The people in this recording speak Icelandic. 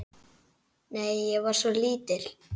Nei, ég var svo lítil.